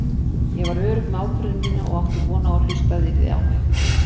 Ég var örugg með ákvörðun mína og átti von á að hlustað yrði á mig.